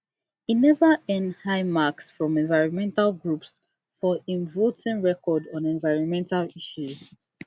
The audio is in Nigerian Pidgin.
e never earn high marks from environmental groups for im voting record on environmental issues